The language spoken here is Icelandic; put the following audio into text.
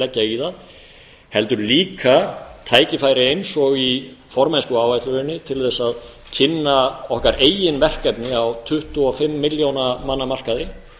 það heldur líka tækifæri eins og í formennskuáætluninni til að kynna okkar eigin verkefni á tuttugu og fimm milljóna manna markaði